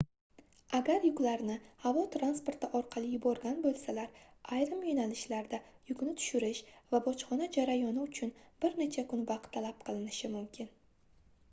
agar yuklarni havo transporti orqali yuborgan boʻlsalar ayrim yoʻnalishlarda yukni tushirish va bojxona jarayoni uchun bir necha kun vaqt talab qilinishi mumkin